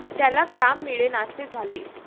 त्याला काम मिळेनासे झाले.